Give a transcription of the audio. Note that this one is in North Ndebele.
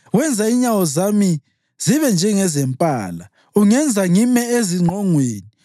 Wenza inyawo zami zibe njengezempala; ungenza ngime ezingqongweni.